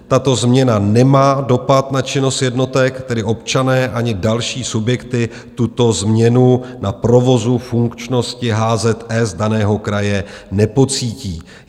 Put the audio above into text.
Tato změna nemá dopad na činnost jednotek, tedy občané ani další subjekty tuto změnu na provozu funkčnosti HZS daného kraje nepocítí.